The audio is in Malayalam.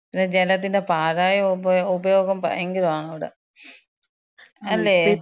പിന്നെ ജലത്തിന്‍റെ പാഴായ ഉപയോ, ഉപയോഗം ഭയങ്കരാണ് അവ്ടെ. അല്ലേ?